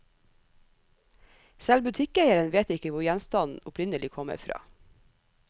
Selv butikkeieren vet ikke hvor gjenstanden opprinnelig kommer fra.